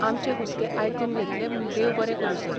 आमचे हुस्के आयकून घेतले म्हूण देव बरें करूं सर.